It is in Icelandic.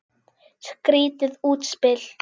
Skrýtið útspil.